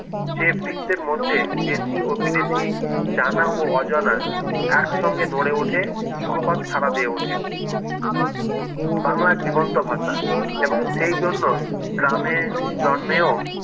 যে বৃত্তের মধ্যে দেশী ও বিদেশী জানা ও অজানা একসঙ্গে নড়ে উঠে যুগোপাত ছাড়া দিয়ে উঠে বাংলা জীবন্ত ভাষা এবং সেই জন্য গ্রামে জন্মেও